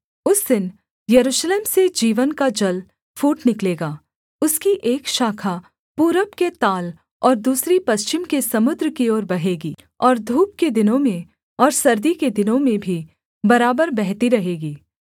उस दिन यरूशलेम से जीवन का जल फूट निकलेगा उसकी एक शाखा पूरब के ताल और दूसरी पश्चिम के समुद्र की ओर बहेगी और धूप के दिनों में और सर्दी के दिनों में भी बराबर बहती रहेंगी